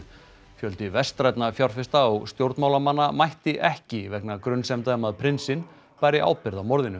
fjöldi vestrænna fjárfesta og stjórnmálamanna mætti ekki vegna grunsemda um að prinsinn bæri ábyrgð á morðinu